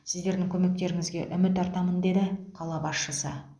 сіздердің көмектеріңізге үміт артамын деді қала басшысы